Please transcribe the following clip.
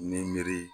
Ni miiri